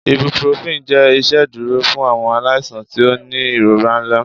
ibuprofen jẹ iṣeduro fun awọn alaisan ti o ni irora nla